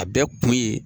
A bɛɛ kun ye